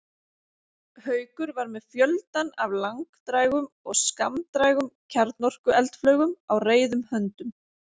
Haukur var með fjöldann af langdrægum og skammdrægum kjarnorkueldflaugum á reiðum höndum.